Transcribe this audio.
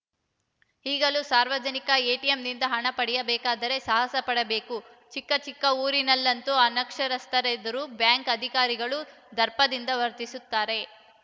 ಈಗಲೂ ಸಾರ್ವಜನಿಕರು ಎಟಿಎಂನಿಂದ ಹಣ ಪಡೆಯಬೇಕಾದರೆ ಸಾಹಸಪಡಬೇಕು ಚಿಕ್ಕ ಚಿಕ್ಕ ಊರಿನಲ್ಲಂತೂ ಅನಕ್ಷರಸ್ಥರೆದುರು ಬ್ಯಾಂಕ್‌ ಅಧಿಕಾರಿಗಳು ದರ್ಪದಿಂದ ವರ್ತಿಸುತ್ತಾರೆ